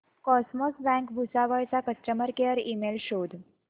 cosmos bank Bhusawal चा customer care email शोध